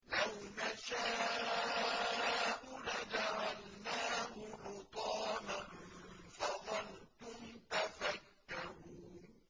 لَوْ نَشَاءُ لَجَعَلْنَاهُ حُطَامًا فَظَلْتُمْ تَفَكَّهُونَ